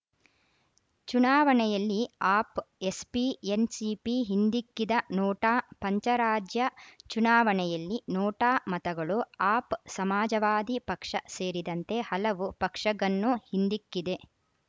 ಚುನಾವಣೆಯಲ್ಲಿ ಆಪ್‌ ಎಸ್‌ಪಿ ಎನ್‌ಸಿಪಿ ಹಿಂದಿಕ್ಕಿದ ನೋಟಾ ಪಂಚರಾಜ್ಯ ಚುನಾವಣೆಯಲ್ಲಿ ನೋಟಾ ಮತಗಳು ಆಪ್‌ ಸಮಾಜವಾದಿ ಪಕ್ಷ ಸೇರಿದಂತೆ ಹಲವು ಪಕ್ಷಗನ್ನು ಹಿಂದಿಕ್ಕಿದೆ